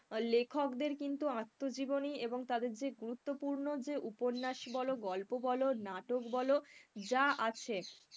লেখকদের কিন্তু আত্মজীবনী এবং তাদের যে গুরুত্বপূর্ণ যে উপন্যাস বলো গল্প বলো নাটক বলো যা আছে,